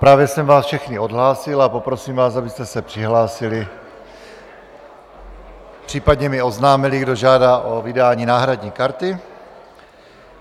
Právě jsem vás všechny odhlásil a poprosím vás, abyste se přihlásili, případně mi oznámili, kdo žádá o vydání náhradní karty.